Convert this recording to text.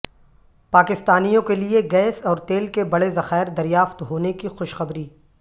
پاکستانیوں کیلئے گیس اور تیل کے بڑے ذخائر دریافت ہونے کی خوشخبری